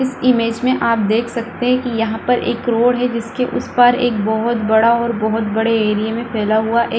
इस इमेज में आप देख सकते है की यहाँ पर एक रोड है। जिसके उस पार एक बहोत बड़ा और एक बहोत बड़े एरिया में फैला हुआ एक --